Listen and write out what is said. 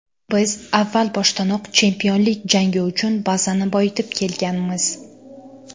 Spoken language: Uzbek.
Biz avval boshdanoq chempionlik jangi uchun bazani boyitib kelganmiz.